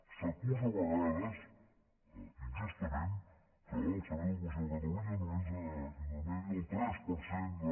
s’acusa a vegades injustament que el servei d’ocupació de catalunya només mitjança el tres per cent de